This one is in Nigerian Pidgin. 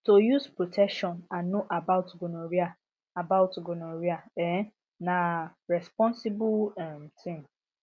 to use protection and know about gonorrhea about gonorrhea um na responsible um thing